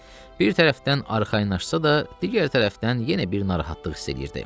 Bir tərəfdən arxayınlaşsa da, digər tərəfdən yenə bir narahatlıq hiss eləyirdi.